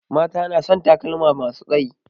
Mata na son takalma masu tsayi